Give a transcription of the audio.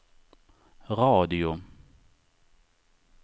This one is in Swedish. radio